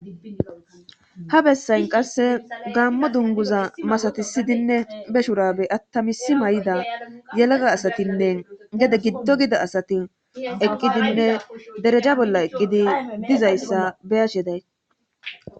ha bessayn qasse gaammo dunguza masatisidinne be shurabe attamisi may7ida yelega asatinne gede giddo gida asati eqqidinne dereja bolla eqqidi dizayssa beyash yeday